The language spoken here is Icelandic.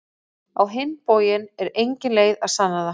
Á hinn bóginn er engin leið að sanna það.